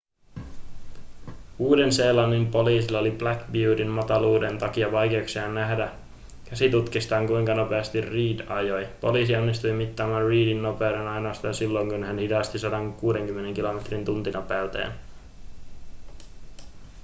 uuden-seelannin poliisilla oli black beautyn mataluuden takia vaikeuksia nähdä käsitutkistaan kuinka nopeasti reid ajoi poliisi onnistui mittaamaan reidin nopeuden ainoastaan silloin kun hän hidasti 160 kilometrin tuntinopeuteen